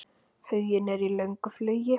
Huginn er í löngu flugi.